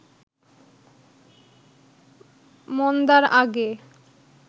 মন্দার আগে